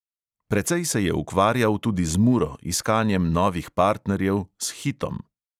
Precej se je ukvarjal tudi z muro, iskanjem novih partnerjev, s hitom ...